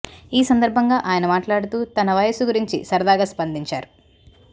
ఈ సందర్భంగా ఆయన మాట్లాడుతూ తన వయసు గురించి సరదాగా స్పందించారు